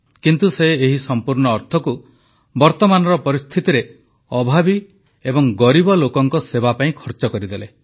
କିନ୍ତୁ ସେ ଏହି ସମ୍ପୂର୍ଣ୍ଣ ଅର୍ଥକୁ ବର୍ତ୍ତମାନର ପରିସ୍ଥିତିରେ ଅଭାବୀ ଏବଂ ଗରିବ ଲୋକଙ୍କ ସେବା ପାଇଁ ଖର୍ଚ୍ଚ କରିଦେଲେ